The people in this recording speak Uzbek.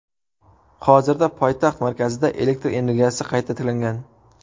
Hozirda poytaxt markazida elektr energiyasi qayta tiklangan.